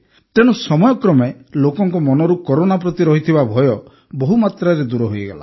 ତେଣୁ ସମୟକ୍ରମେ ଲୋକଙ୍କ ମନରୁ କରୋନା ପ୍ରତି ରହିଥିବା ଭୟ ବହୁ ମାତ୍ରାରେ ଦୂର ହେଇଗଲା